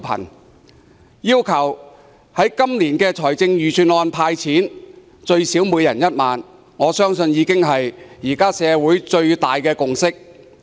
我要求政府在財政預算案公布"派錢"，最少每人1萬元，我相信這是現時社會最大的共識。